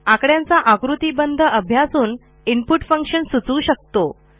आकड्यांचा आकृतिबंध अभ्यासून input function सुचवू शकतो